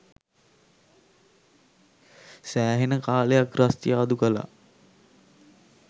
සෑහෙන කාලයක් රස්තියාදු කළා.